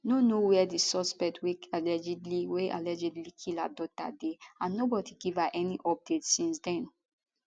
no know wia di suspect wey allegedly wey allegedly kill her daughter dey and nobody give her any update since den